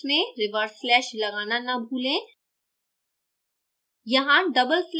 सभी commands में reverse slash लगाना न भूलें